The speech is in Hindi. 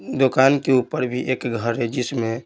दुकान के ऊपर भी एक घर है जिसमें--